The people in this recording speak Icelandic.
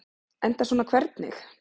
Enda svona hvernig?